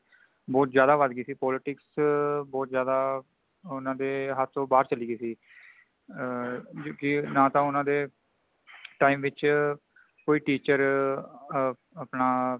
ਬਹੁਤ ਜ਼ਿਆਦਾ ਵੱਧ ਗਈ ਸੀ , politic ਬਹੁਤ ਜ਼ਿਆਦਾ ਊਨਾ ਦੇ ਹਥ ਚੋ ਬਾਹਰ ਚਲੀ ਗਈ ਸੀ | ਅ...ਇਨ ਕੈਸ਼ ਨਾ ਤੇ ਊਨਾ ਦੇ time ਵਿਚ ਕੋਈ teacher ਆ ਅ ਅਪਣਾ